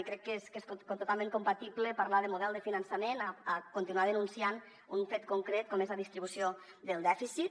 i crec que és totalment compatible parlar de model de finançament i continuar denunciant un fet concret com és la distribució del dèficit